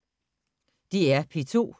DR P2